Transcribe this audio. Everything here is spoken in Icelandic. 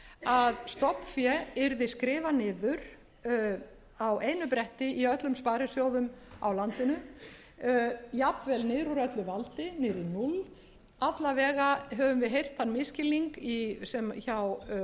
að stofnfé yrði skrifað niður á einu bretti í öllum sparisjóðum á landinu jafnvel niður úr öllu valdi niður í núll alla vega höfum við heyrt þann misskilning